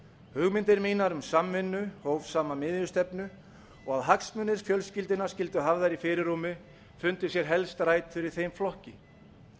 hugmyndir mínar um samvinnu hófsama miðjustefnu og að hagsmunir fjölskyldunnar skyldu hafðir i fyrirrúmi fundu sér helst rætur í þeim flokki